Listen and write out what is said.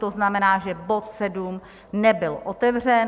To znamená, že bod 7 nebyl otevřen.